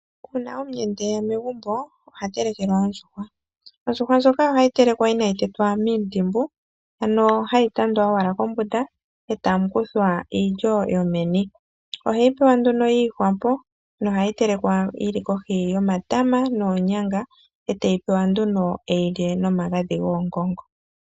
Uuna omuyenda eya megumbo oha telekelwa ondjuhwa . Ondjuhwa ndjoka ohayi telekwa inayi tetwa miintimbu ano hayi tandwa owala kombunda , etamu kuthwa iilyo yomeni. Ohayi tulwapo nduno yiihwapo nohayi telekwa kohi yomatama noonyanga etaya pewa nduno yeyilye nomagadhi goongongo.